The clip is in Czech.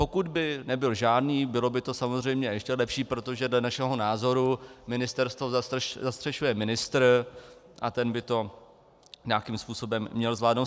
Pokud by nebyl žádný, bylo by to samozřejmě ještě lepší, protože dle našeho názoru ministerstvo zastřešuje ministr a ten by to nějakým způsobem měl zvládnout.